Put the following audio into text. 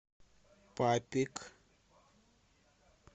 папик